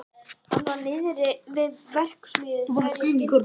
Hann var niðri við verksmiðju þegar ég skildi við hann.